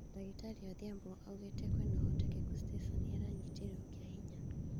Dagĩtarĩ Odhiambo augĩte kwĩna ũhotekeku Stacy Nĩaranyitĩtwo kĩahinya